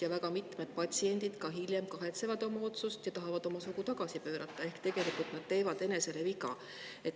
Ja väga mitmed patsiendid hiljem kahetsevad oma otsust ja tahavad oma sugu tagasi pöörata ehk tegelikult nad teevad enesele viga.